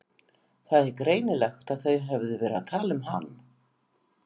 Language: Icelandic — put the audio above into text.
Það var greinilegt að þau höfðu verið að tala um hann.